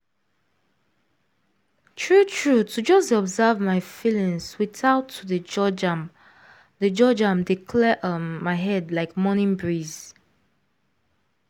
true true to just dey observe my feelings without to dey judge am dey judge am dey clear um my head like morning breeze.